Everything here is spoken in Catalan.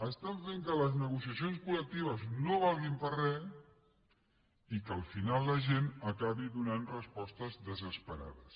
estan fent que les negociacions col·lectives no valguin per a res i que al final la gent acabi donant respostes desesperades